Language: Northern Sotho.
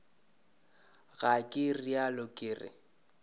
ga ke realo ke re